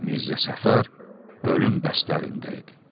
Mirzə Səfər ölüm bəstələrində idi.